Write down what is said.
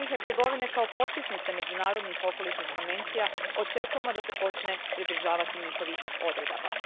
Od Bosne i Hercegovine kao potpisnice međunarodnih okolišnih konvencija očekujemo da se počne pridržavati njihovih odredaba.